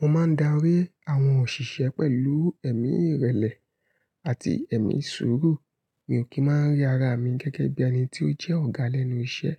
Mo máa ń darí àwọn òṣìṣẹ́ pẹ̀lú ẹ̀mí ìrẹ̀lẹ̀ àti ẹ̀mí suuru. Mi ò kí máa ń rí ara mi gẹ́gẹ́ bí ẹni tí ó jẹ́ ọ̀gá lẹ́nu iṣẹ́.